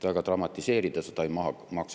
Väga dramatiseerida seda ei maksa.